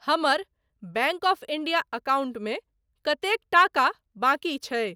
हमर bank of India अकाउंटमे कतेक टाका बाकि छै?